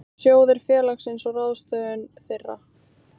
Sjóðir félagsins og ráðstöfun þeirra.